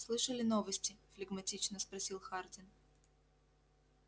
слышали новости флегматично спросил хардин